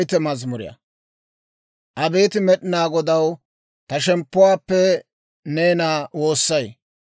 Abeet Med'inaa Godaw, ta shemppuwaappe neena woossay.